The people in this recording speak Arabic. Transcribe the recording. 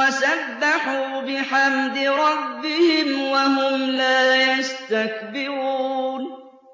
وَسَبَّحُوا بِحَمْدِ رَبِّهِمْ وَهُمْ لَا يَسْتَكْبِرُونَ ۩